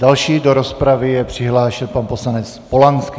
Další do rozpravy je přihlášen pan poslanec Polanský.